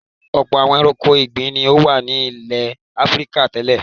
Ọ̀pọ̀ àwọn ẹranko ìgbẹ́ ni ó wà ní ilẹ̀ Áfíríkà tẹ́lẹ̀.